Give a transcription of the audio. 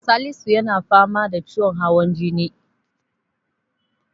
Salisu yana fama da ciwon hawan jini.